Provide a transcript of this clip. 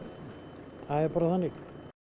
það er bara þannig